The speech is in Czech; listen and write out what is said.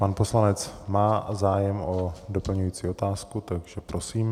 Pan poslanec má zájem o doplňující otázku, takže prosím.